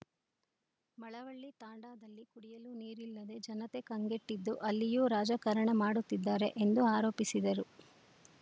ಮಳವಳ್ಳಿ ತಾಂಡಾದಲ್ಲಿ ಕುಡಿಯಲು ನೀರಿಲ್ಲದೆ ಜನತೆ ಕಂಗೆಟ್ಟಿದ್ದು ಅಲ್ಲಿಯೂ ರಾಜಕಾರಣ ಮಾಡುತ್ತಿದ್ದಾರೆ ಎಂದು ಆರೋಪಿಸಿದರು